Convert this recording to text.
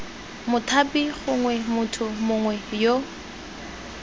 mothapi gongwe motho mongwe yo